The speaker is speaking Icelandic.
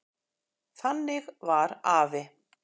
Þannig var afi.